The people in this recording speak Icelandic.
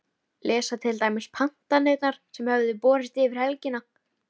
Lesa til dæmis pantanirnar sem höfðu borist yfir helgina.